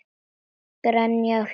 Grenja af hlátri.